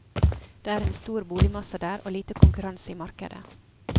Det er en stor boligmasse der, og lite konkurranse i markedet.